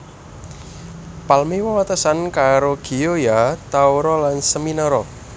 Palmi wewatesan karo Gioia Tauro lan Seminara